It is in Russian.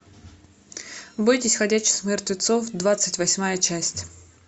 бойтесь ходячих мертвецов двадцать восьмая часть